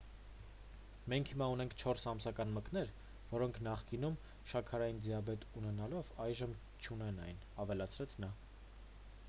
«մենք հիմա ունենք 4 ամսական մկներ որոնք նախկինում շաքարային դիաբետ ունենալով այժմ չունեն այն,- ավելացրեց նա։»